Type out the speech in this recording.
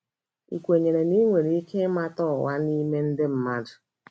Ị kwenyere na ị nwere ike ịmata ụgha n’ime ndị mmadụ?